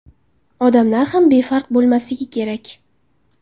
Odamlar ham befarq bo‘lmasligi kerak.